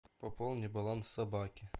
пополни баланс собаки